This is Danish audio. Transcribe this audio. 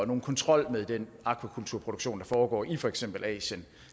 nogen kontrol med den akvakulturproduktion der foregår i for eksempel asien